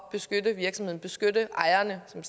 beskytte virksomheden beskytte ejerne som